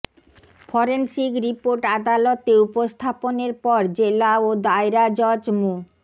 forensic report আদালতে উপস্থাপনের পর জেলা ও দায়রা জজ মো